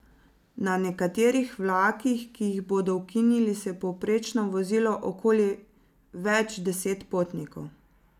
Na nekaterih vlakih, ki jih bodo ukinili, se je povprečno vozilo okoli več deset potnikov.